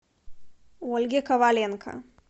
ольге коваленко